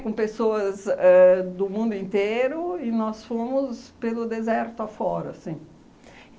Com pessoas éh do mundo inteiro e nós fomos pelo deserto afora, sim.